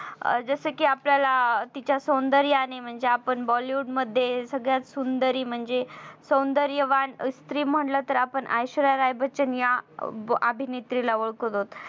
अं जस कि आपल्याला तिच्या सौंदर्याने म्हणजे आपण bollywood मध्ये सगळ्यात सुंदरी म्हणजे सौंदर्यवान स्त्री म्हणलं तर आपण ऐश्वर्या राय बच्चन या आ अभिनेत्रे ला ओळखतोत.